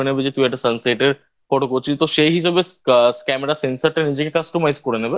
নেবে যে তুই একটা Sunset এর Photo করছি তো সেই হিসাবে Camera র sensor নিজেকে Customise করে নেবে